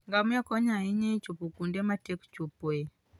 Ngamia konyo ahinya e chopo kuonde matek chopoe.